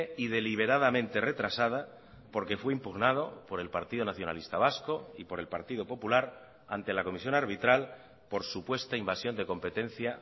y deliberadamente retrasada porque fue impugnado por el partido nacionalista vasco y por el partido popular ante la comisión arbitral por supuesta invasión de competencia